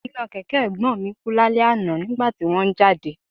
Iná kẹ̀kẹ́ Ẹ̀gbọ́n mi kú lálẹ́ àná nígbà tí wón ń jáde